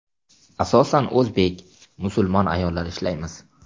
Asosan o‘zbek, musulmon ayollar ishlaymiz.